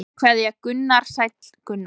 Kær kveðja Gunnar Sæll Gunnar.